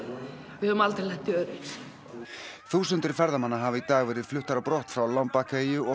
við höfum aldrei lent í öðru eins þúsundir ferðamanna hafa í dag verið fluttar á brott frá Lombak eyju og